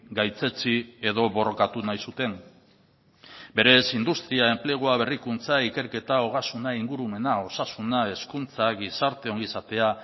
gaitzetsi edo borrokatu nahi zuten berez industria enplegua berrikuntza ikerketa ogasuna ingurumena osasuna hezkuntza gizarte ongizatea